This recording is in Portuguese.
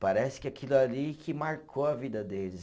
Parece que aquilo ali que marcou a vida deles.